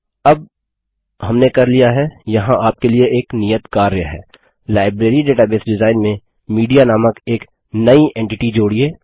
अब हमने कर लिया है यहाँ आपके लिए एक नियत कार्य है लाइब्रेरी डेटाबेस डिजाइन में मीडिया नामक एक नई एंटिटी जोड़िये